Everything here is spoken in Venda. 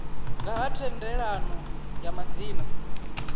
nga ha thendelano ya madzina